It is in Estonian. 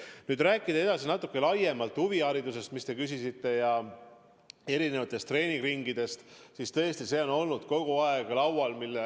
Kui nüüd rääkida edasi natuke laiemalt huviharidusest, mille kohta te küsisite, erinevatest treeninguringidest, siis tõesti, see teema on kogu aeg mul laual olnud.